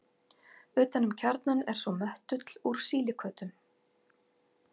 Utan um kjarnann er svo möttull úr sílíkötum.